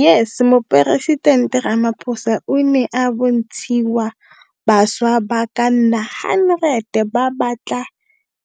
YES Moporesitente Ramaphosa o ne a bontshiwa bašwa ba ka nna 100 ba ba tla